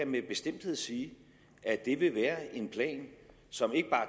med bestemthed sige at det vil være en plan som ikke bare